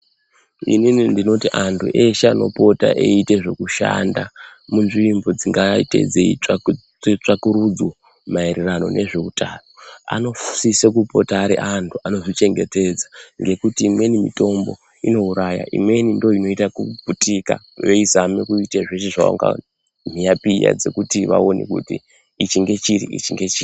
Inini ndinoti antu eshe anopota eiita zveku shanda munzvimbo dzingaite dzei tsvakwe tsvakurudzo maererana nezve utano ano sise kupota aari antu ano zvichengetedza nekuti imweni mitombo inouraya imweni ndiyo inoita kuputika veizama kuita zveshe zvavanga mhiya piya dzekuti vaonekuti ichi ngechiri ichi ngechiri.